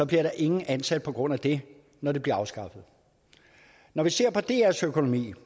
bliver ingen ansat på grund af det når det bliver afskaffet når vi ser på drs økonomi